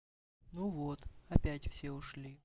ну вот опять все ушли